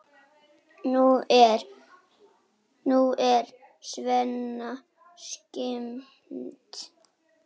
Nú er Svenna skemmt.